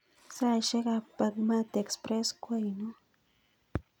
Saishek ab bagmati express ko ainon